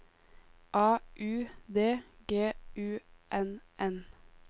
A U D G U N N